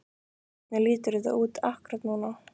Hvernig lítur þetta út akkúrat núna?